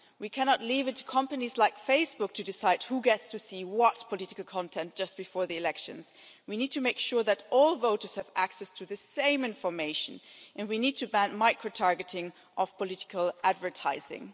We cannot leave it to companies like Facebook to decide who gets to see what political content just before the elections. We need to make sure that all voters have access to the same information, and we need to ban micro targeting of political advertising.